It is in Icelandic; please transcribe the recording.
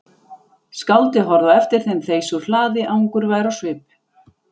Skáldið horfði á eftir þeim þeysa úr hlaði angurvær á svip.